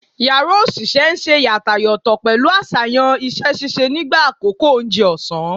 Yara osise n se yàtàyòtò pẹlu aṣayan iṣẹ-ṣiṣe nigba akoko ounje òsán